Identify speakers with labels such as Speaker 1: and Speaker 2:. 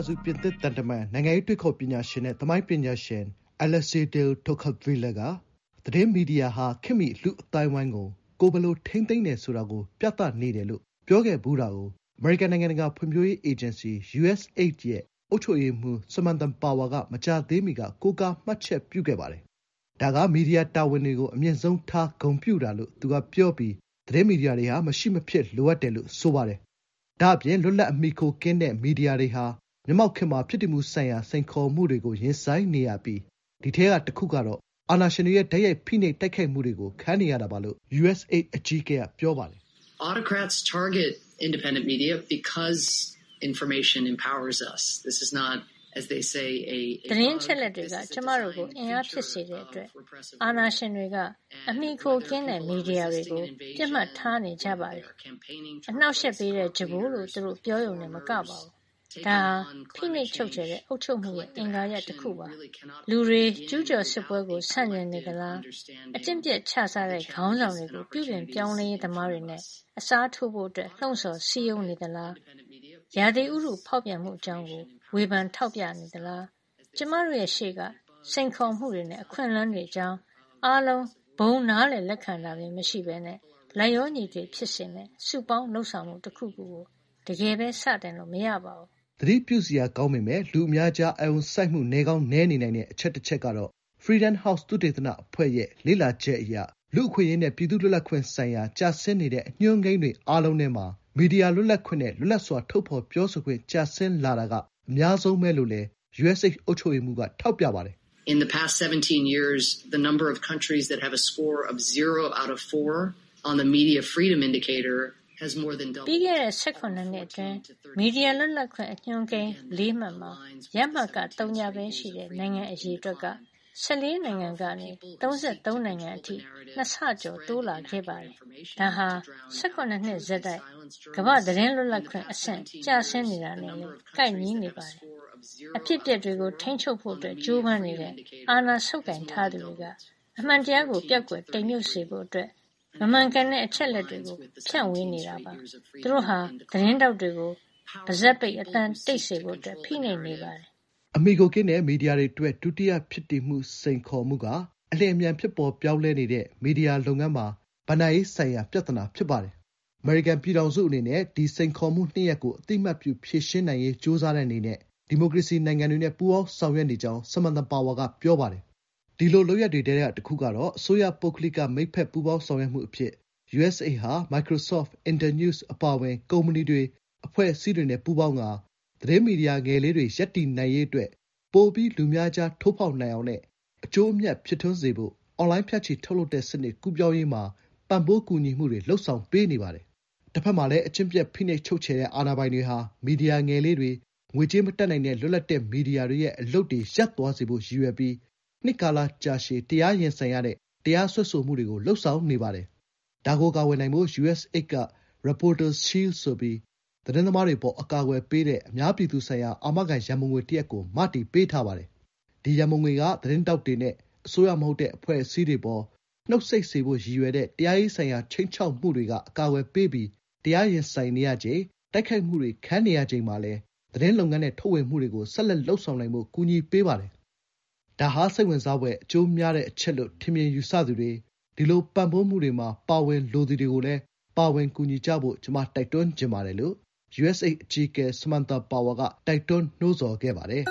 Speaker 1: စု ပြင်သစ်သံတမန်၊ နိုင်ငံရေးတွေးခေါ်ပညာရှင်နဲ့ သမိုင်းပညာရှင် Alexis de Tocqueville က "သတင်းမီဒီယာဟာ ခေတ်မီလူ့အသိုင်းဝိုင်းကို ကိုယ်ဘယ်လို ထိန်းသိမ်းတယ်ဆိုတာ ပြနေတယ်" လို့ ပြောခဲ့ဖူးတာကို အမေရိကန်နိုင်ငံတကာဖွံ့ဖြိုးရေးအေဂျင်စီ (USAID) ရဲ့ အုပ်ချုပ်ရေးမှူး ဆမ်မန်သာ ပါဝါ (Samantha Power) က မကြာသေးမီက ကိုးကား မှတ်ချက်ပြုခဲ့ပါတယ်။။ “ဒါက မီဒီယာတာဝန်တွေကို အမြင့်ဆုံးထား ဂုဏ်ပြုတာ” လို့ သူက ပြောပြီး သတင်းမီဒီယာတွေဟာ “မရှိမဖြစ်လိုအပ်တယ်” လို့ ဆိုပါတယ်။ ဒါ့ပြင် လွတ်လပ်ပြီး အမှီအခိုကင်းတဲ့မီဒီယာတွေဟာ မျက်မှောက်ခေတ်မှာ ဖြစ်တည်မှုဆိုင်ရာ စိန်ခေါ်မှုတွေကို ရင်ဆိုင်နေရပြီး ဒီထဲကတခုကတော့ အာဏာရှင်တွေရဲ့ တိုက်ရိုက်ဖိနှိပ် တိုက်ခိုက်မှုတွေကို ခံနေရတာပါလို့ USAID အကြီးအကဲက ပြောပါတယ်။ “
Speaker 2: သတင်းအချ
Speaker 3: က်အလက်တွေက ကျမတို့ကို အင်အားဖြစ်စေတဲ့အတွက် အာဏာရှင်တွေက အမှီအခိုကင်းတဲ့မီဒီယာတွေကို ပစ်မှတ်ထားနေကြပါတယ်။ အနှောင့်အယှက်ပေးတဲ့ ကြမ်းပိုးလို့ သူတို့ပြောရုံတင်မကဘူး၊ ဒါဟာ ဖိနှိပ်ချုပ်ချယ်တဲ့အုပ်ချုပ်မှုရဲ့ အင်္ဂါရပ်တခုပါ။ လူတွေက ကျူးကျော်စစ်ပွဲကို ဆန့်ကျင်နေကြသလား၊ အကျင့်ပျက်ခြစားတဲ့ ခေါင်းဆောင်တွေကို ပြုပြင်ပြောင်းလဲရေးသမားတွေနဲ့ အစားထိုးဖို့ လှုံ့ဆော် စည်းရုံးနေသလား၊ ရာသီဥတုဖောက်ပြန်မှုအကြောင်း ဝေဖန်ထောက်ပြနေသလား။ ကျမတို့ရဲ့ရှေ့က စိန်ခေါ်မှုတွေနဲ့ အခွင့်အလမ်းတွေအကြောင်း အားလုံး ဘုံ နားလည်လက်ခံတာမျိုးမရှိဘဲ လိုက်လျောညီထွေဖြစ်စေမယ့် စုပေါင်းလုပ်ဆောင်မှုတခုခုကို တကယ်စတင်လို့ မရပါဘူး။
Speaker 1: ” “သတိပြုစရာကောင်းပေမယ့် လူအများကြားအာရုံစိုက်မှု နည်းကောင်းနည်းနေနိုင်တဲ့အချက် တချက်ကတော့ Freedom House သုတေသနအဖွဲ့ရဲ့ လေ့လာချက်အရ လူ့အခွင့်အရေးနဲ့ ပြည်သူ့လွတ်လပ်ခွင့်ဆိုင်ရာ ကျဆင်းနေတဲ့ အညွှန်းကိန်းတွေအားလုံးထဲမှာ မီဒီယာလွတ်လပ်ခွင့်နဲ့ လွတ်လပ်စွာ ထုတ်ဖော်ပြောဆိုခွင့် ကျဆင်းလာတာက အများဆုံးပါပဲ” လို့လည်း USAID အုပ်ချုပ်ရေးမှူးက ထောက်ပြပါတယ်။ “ပ
Speaker 2: ြီးခ
Speaker 3: ဲ့တဲ့ ၁၇ နှစ်အတွင်း မီဒီယာလွတ်လပ်ခွင့်ညွှန်းကိန်း ၄ မှတ်မှာ ရမှတ် သုည ပဲရှိတဲ့ နိုင်ငံအရေအတွက်က ၁၄ နိုင်ငံကနေ ၃၃ နိုင်ငံအထိ နှစ်ဆကျော် တိုးလာခဲ့ပါတယ်။ ဒါဟာ ၁၇ နှစ်ဆက်တိုက် ကမ္ဘာ့သတင်းလွတ်လပ်ခွင့် အဆင့် ကျဆင်းနေတာနဲ့လည်း ကိုက်ညီနေပါတယ်။ အဖြစ်အပျက်တွေကိုထိန်းချုပ်ဖို့ ကြိုးပမ်းနေတဲ့ အာဏာဆုပ်ကိုင်ထားသူတွေဟာ အမှန်တရားကို ပျောက်ကွယ် တိမ်မြုပ်စေဖို့ မမှန်ကန်တဲ့အချက်အလက်တွေကို ဖြန့်ဝေနေပါတယ်။ သူတို့ဟာ သတင်းထောက်တွေကို ပါးစပ်ပိတ် အသံတိတ်စေဖို့ ဖိနှိပ်နေပါတယ်။
Speaker 1: ” အမှီအခိုကင်းတဲ့မီဒီယာအတွက် ဒုတိယဖြစ်တည်စိန်ခေါ်မှုက အလျင်အမြန် ဖြစ်ပေါ် ပြောင်းလဲနေတဲ့မီဒီယာလုပ်ငန်းမှာ ဘဏ္ဍာရေးဆိုင်ရာပြဿနာ ဖြစ်ပါတယ်။ အမေရိကန်ပြည်ထောင်စုအနေနဲ့ “ဒီစိန်ခေါ်မှုနှစ်ရပ်ကို အသိအမှတ်ပြု ဖြေရှင်းနိုင်ရေး ကြိုးစားတဲ့အနေနဲ့ ဒီမိုကရေစီနိုင်ငံတွေနဲ့ ပူးပေါင်းဆောင်ရွက်နေကြောင်း” ဆမ်မန်သာ ပါဝါ က ပြောပါတယ်။ ဒီလိုလုပ်ရပ်တွေထဲက တခုကတော့ အစိုးရ-ပုဂ္ဂလိက မိတ်ဖက်ပူးပေါင်းဆောင်ရွက်မှုအဖြစ် USAID ဟာ Microsoft၊ Internews အပါအဝင် ကုမ္ပဏီတွေ၊ အဖွဲ့အစည်းတွေနဲ့ပူးပေါင်းပြီး သတင်းမီဒီယာငယ်လေးတွေ ရပ်တည်နိုင်ရေးအတွက် ပိုပြီး လူအများကြား ထိုးဖောက်နိုင်အောင်နဲ့ အကျိုးအမြတ်ဖြစ်ထွန်းစေဖို့ အွန်လိုင်း ဖြန့်ချိထုတ်ဝေတဲ့စနစ် ကူးပြောင်းရေးမှာ ပံ့ပိုးကူညီပေးနေပါတယ်။ တဖက်မှာလည်း အကျင့်ပျက် ဖိနှိပ်ချုပ်ခြယ်တဲ့အာဏာပိုင်တွေဟာ မီဒီယာ ငယ်လေးတွေ၊ ငွေကြေးမတတ်နိုင်တဲ့ လွတ်လပ်တဲ့မီဒီယာတွေရဲ့အလုပ်တွေ ရပ်သွားစေဖို့ရည်ရွယ်ပြီး နှစ်ကာလကြာရှည်တရားရင်ဆိုင်ရတဲ့ တရားစွဲဆိုမှုတွေကို လုပ်ဆောင်နေပါတယ်။ ဒါကို ကာကွယ်နိုင်ဖို့ USAID က Reporters Shield ဆိုပြီး သတင်းသမားတွေ အပေါ် အကာအကွယ်ပေးတဲ့ အများပြည်သူဆိုင်ရာ အာမခံရန်ပုံငွေတရပ်ကို မတည်ပေးထားပါတယ်။ ဒီရန်ပုံငွေက သတင်းထောက်တွေနဲ့ အစိုးရမဟုတ်တဲ့ အဖွဲ့အစည်းတွေအပေါ် နှုတ်ဆိတ်စေဖို့ရည်ရွယ်တဲ့ တရားရေးဆိုင်ရာ ခြိမ်းခြောက်မှုတွေက အကာကွယ်ပေးပြီး တရားရင်ဆိုင်နေရချိန်၊ တိုက်ခိုက်မှုတွေ ခံနေရချိန်မှာလည်း သတင်းလုပ်ငန်းနဲ့ ထုတ်ဝေမှုတွေကို ဆက်လက် လုပ်ဆောင်နိုင်ဖို့ ကူညီပေးပါတယ်။ "ဒါဟာ စိတ်ဝင်စားဖွယ် အကျိုးများတဲ့အချက်လို ထင်မြင်ယူဆသူတွေ၊ ဒီလို ပံ့ပိုးမှုတွေမှာ ပါဝင်လိုသူတွေကိုလည်း ပါဝင်ကူညီဖို့ ကျမ တိုက်တွန်းချင်ပါတယ်” လို့ USAID အကြီးအကဲ ဆမ်မန်သာပါဝါ က တိုက်တွန်းနှိုးဆော်ခဲ့ပါတယ်